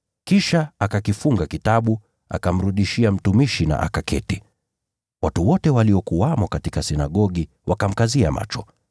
Kisha akakifunga kitabu, akamrudishia mtumishi na akaketi. Watu wote waliokuwamo katika sinagogi wakamkazia macho.